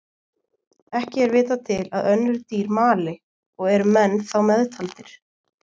Ekki er vitað til að önnur dýr mali og eru menn þá meðtaldir.